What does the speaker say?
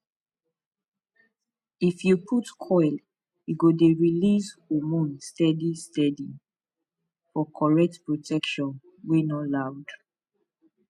if u put coil e go dey release hormones steady steady for correct protection wey no loud